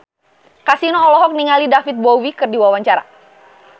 Kasino olohok ningali David Bowie keur diwawancara